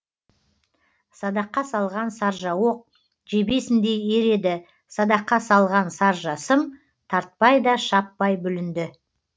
садаққа салған саржа оқ жебесіндей ер еді садаққа салған саржа сым тартпай да шаппай бүлінді